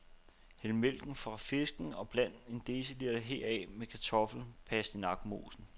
Hæld mælken fra fisken og bland en deciliter heraf med kartoffel pastinak mosen.